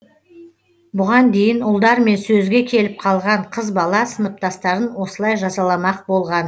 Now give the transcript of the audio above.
бұған дейін ұлдармен сөзге келіп қалған қыз бала сыныптастарын осылай жазаламақ болған